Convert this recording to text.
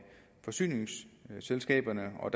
forsyningsselskaberne og